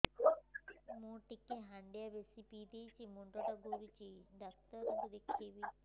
ମୁଇ ଟିକେ ହାଣ୍ଡିଆ ବେଶି ପିଇ ଦେଇଛି ମୁଣ୍ଡ ଟା ଘୁରୁଚି କି ଡାକ୍ତର ଦେଖେଇମି